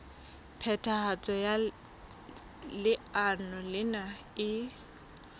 phethahatso ya leano lena e